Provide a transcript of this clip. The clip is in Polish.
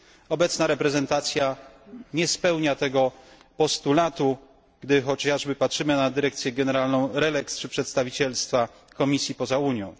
Obecna reprezentacja nie spełnia tego postulatu, gdy chociażby patrzymy na Dyrekcję Generalną RELEX czy przedstawicielstwa Komisji poza Unią.